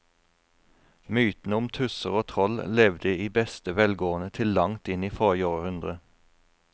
Mytene om tusser og troll levde i beste velgående til langt inn i forrige århundre.